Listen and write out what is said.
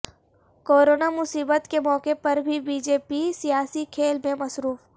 corona مصیبت کے موقع پر بھی بی جے پی سیاسی کھیل میں مصروف